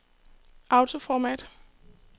autoformat